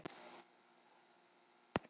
Magnað hvernig golfið getur verið.